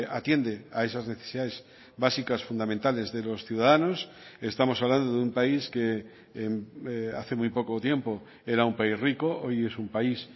atiende a esas necesidades básicas fundamentales de los ciudadanos estamos hablando de un país que hace muy poco tiempo era un país rico hoy es un país